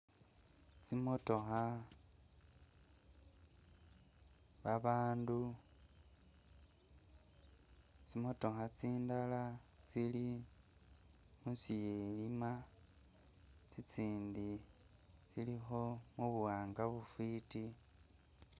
Tsi'motokha, babandu, tsi'motokha tsindala tsili musilima tsitsindi tsilikho mubuwanga bufwiti.